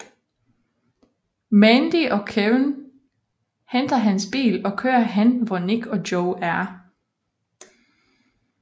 Mandy og Kevin henter hans bil og kører hen hvor Nick og Joe er